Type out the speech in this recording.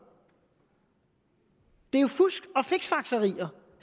det er jo fusk og fiksfakserier